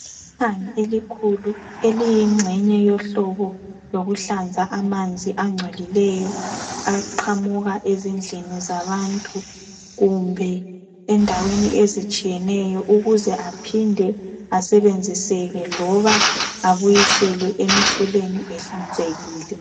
Iqhinga elikhulu eliyingxenye yohlobo lokuhlanza amanzi angcolileyo, aqhamuka ezindlini zabantu, kumbe endaweni ezitshiyeneyo, ukuze aphinde asebenziseke, loba abuyiselwe emifuleni ehlanzekile